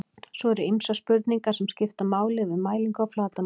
svo eru ýmsar spurningar sem skipta máli við mælingu á flatarmáli